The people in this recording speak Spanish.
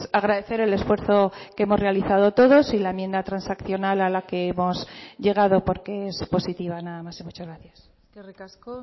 agradecer el esfuerzo que hemos realizado todos y la enmienda transaccional a la que hemos llegado porque es positiva nada más y muchas gracias eskerrik asko